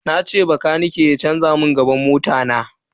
Nace bakanike na canza mun gilashin gaban mota na.